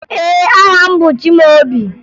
Ee, aha m bụ Chimaobi